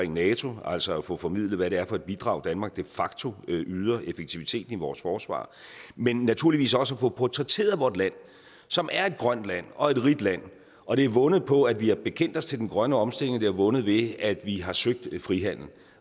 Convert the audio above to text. nato altså at få formidlet hvad det er for et bidrag danmark de facto yder effektiviteten i vores forsvar men naturligvis også at få portrætteret vort land som er et grønt land og et rigt land og det er vundet på at vi har bekendt os til den grønne omstilling og det er vundet ved at vi har søgt frihandel